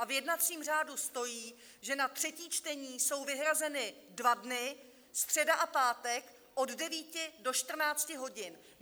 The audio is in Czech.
A v jednacím řádu stojí, že na třetí čtení jsou vyhrazeny dva dny, středa a pátek, od 9 do 14 hodin!